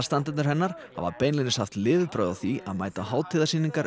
aðstandendur hennar hafa beinlínis haft lifibrauð af því að mæta á